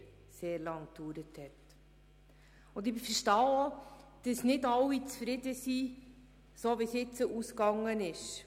Ich kann verstehen, wenn nicht alle mit ihrem Ausgang zufrieden sind.